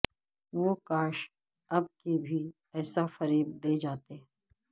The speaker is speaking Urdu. وہ کاش اب کے بھی ایسا فریب دے جاتے